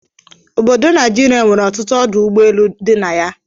Obodo Naijirịa nwere ọtụtụ ọdụ ụgbọ elu dị na ya